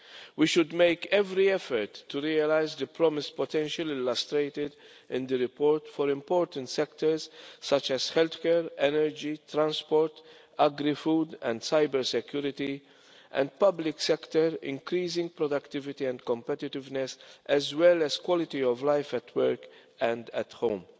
We should make every effort to realise the promise potentially illustrated in the report for important sectors such as healthcare, energy, transport, agri food, cyber security and in the public sector, increasing productivity and competitiveness as well as quality of life at work and at home.